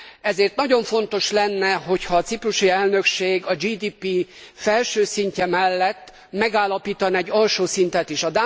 Ezért nagyon fontos lenne, ha a ciprusi elnökség a GDP felső szintje mellett megállapítana egy alsó szintet is.